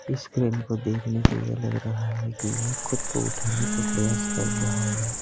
इस क्रेन को देखने से यह लग रहा है कि यह खुद को उठाने का प्रयास कर रहा है।